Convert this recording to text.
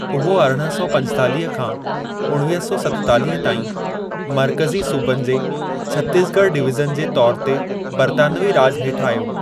उहो अरिड़हं सौ पंजेतालीह खां उणिवीह सौ सतेतालीह ताईं मर्कज़ी सूबनि जे छत्तीस ॻढ़ डिवीज़न जे तौर ते बर्तानवी राॼु हेठि आयो।